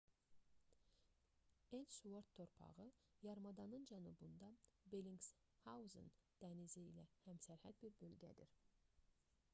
elsuort torpağı yarımadanın cənubunda bellingshausen dənizi ilə həmsərhəd bir bölgədir